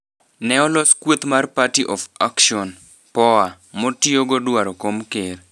Neolos kweth mar Prty Of Action(POA) motiogo dwaro kom ker.